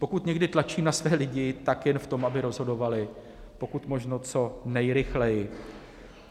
Pokud někdy tlačím na své lidi, tak jen v tom, aby rozhodovali pokud možno co nejrychleji.